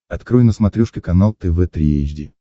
открой на смотрешке канал тв три эйч ди